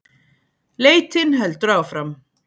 Leitin heldur áfram